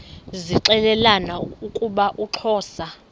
zixelelana ukuba uxhosa